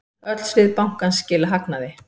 Öll svið bankans skila hagnaði.